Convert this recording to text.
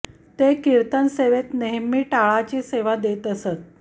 ते कीर्तन सेवेत नेहमी टाळाची सेवा देत असत